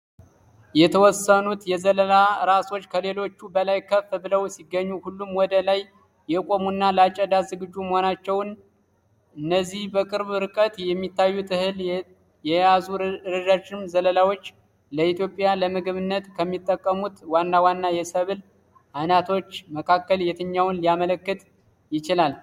የተወሰኑት የዘለላ ራሶች ከሌሎቹ በላይ ከፍ ብለው ሲገኙ፣ ሁሉም ወደ ላይ የቆሙና ለአጨዳ ዝግጁ መሆናቸውን ።እነዚህ በቅርብ ርቀት የሚታዩት እህል የያዙ ረዣዥም ዘለላዎች፣ ለኢትዮጵያ ለምግብነት ከሚጠቅሙት ዋና ዋና የሰብል ዓይነቶች መካከል የትኛውን ሊያመለክቱ ይችላሉ?